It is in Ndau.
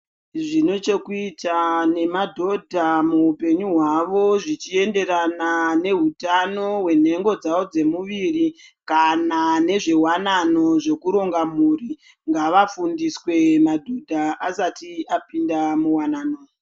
Zvine chekuita ne madhodha mu hupenyu hwavo zvichi enderana ne hutano hwe nengo dzavo dze muviri kana nezve wanano zveku ronga mhuri ngava fundiswe madhodha asati apinda muwanano.